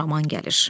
Xuraman gəlir.